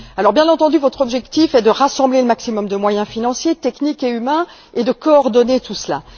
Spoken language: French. Bien entendu, votre objectif est de rassembler le maximum de moyens financiers, techniques et humains et de coordonner tout cela.